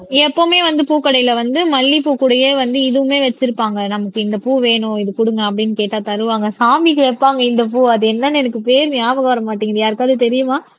எப்பவுமே வந்து பூக்கடையில வந்து மல்லிப்பூ கூடயே வந்து இதுவுமே வச்சிருப்பாங்க நமக்கு இந்த பூ வேணும் இது குடுங்க அப்படின்னு கேட்டா தருவாங்க சாமிக்கு வைப்பாங்க இந்த பூ அது என்னன்னு எனக்கு பேர் ஞாபகம் வர மாட்டேங்குது யாருக்காவது தெரியுமா